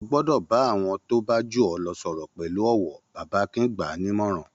Ó gbọ́dọ̀ bá àwọn tó bá jù ọ́ lọ sọ̀rọ̀ pẹ̀lú ọ̀wọ̀! Bàbá Akin gbà á ní ìmọ̀ràn.